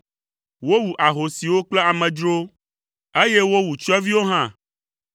Wowu ahosiwo kple amedzrowo, eye wowu tsyɔ̃eviwo hã.